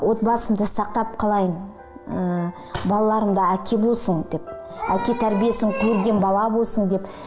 отбасымды сақтап қалайын ы балаларымда әке болсын деп әке тәрбиесін көрген бала болсын деп